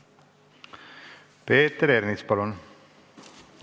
Peeter Ernits, palun!